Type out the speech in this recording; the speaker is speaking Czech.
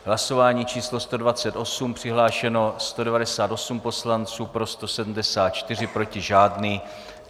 Hlasování číslo 128, přihlášeno 198 poslanců, pro 174, proti žádný.